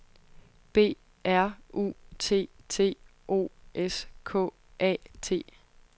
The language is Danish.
B R U T T O S K A T